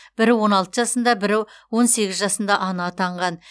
бірі он алты жасында бірі он сегіз жасында ана атанған